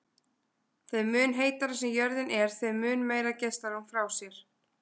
Þeim mun heitari sem jörðin er þeim mun meira geislar hún frá sér.